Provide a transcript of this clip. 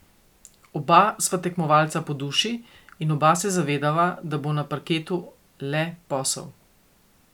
Oba sva tekmovalca po duši in oba se zavedava, da bo na parketu le posel.